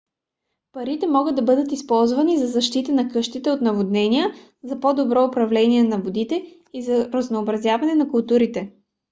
парите могат да бъдат използвани за защита на къщите от наводнения за по-добро управление на водите и за разнообразяване на културите